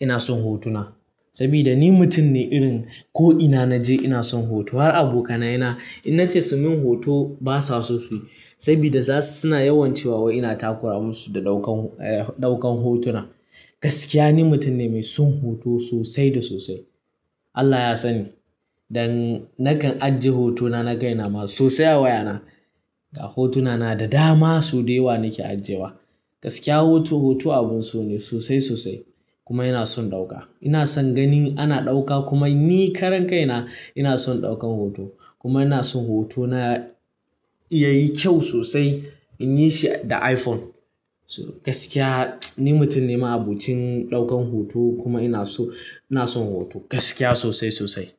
ina son hotuna. Saboda ni mutum ne irin ko ina naje ina son hoto. Har abokaina, in nace su yi min hoto basa so suyi. Saboda zasu suna yawan cewa ina takura musu da ɗaukan, ɗaukan hotuna. Gaskiya ni mutum ne mai son hoto sosai da sosai. Allah ya sani, don nakan ajiye hotunana na kaina ma sosai a wayana. Hotunana da dama sau da yawa nake ajiyewa. Gaskiya hoto, hoto abun so ne sosai sosai kuma ina son ɗauka. Ina son ganin ana ɗaukar kuma ni karan kaina ina son ɗaukar hoto. Kuma ina son hotona yayi kyau sosai in yi shi da iPhone. Gaskiya ni mutum ne ma'abocin ɗaukar hoto kuma ina son, ina son hoto gaskiya sosai sosai.